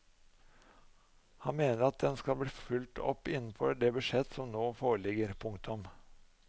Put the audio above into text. Han mener at den skal bli fulgt opp innenfor det budsjett som nå foreligger. punktum